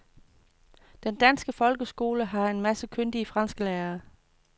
Den danske folkeskole har en masse kyndige fransklærere.